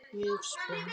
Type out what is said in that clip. Mjög spennt.